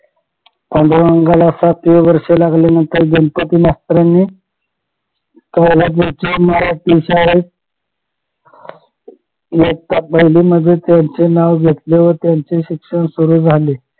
पांडुरंगाला सातवे वर्ष लागले नंतर गणपती मास्तरांनी पोलादपूरच्या मराठी शाळेत इयत्ता पाहिलेमध्ये त्यांचे नाव घेतले व त्यांचे शिक्षण सुरु झाले